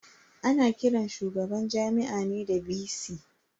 Ana kiran shugaban Jami'a ne da "VC".